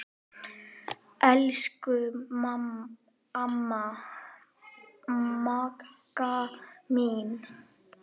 Elsku amma Magga mín.